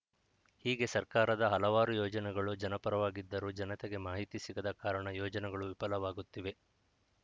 ಹೀಗೆ ಸರ್ಕಾರದ ಹಲವಾರು ಯೋಜನೆಗಳು ಜನಪರವಾಗಿದ್ದರೂ ಜನತೆಗೆ ಮಾಹಿತಿ ಸಿಗದ ಕಾರಣ ಯೋಜನೆಗಳು ವಿಫಲವಾಗುತ್ತಿವೆ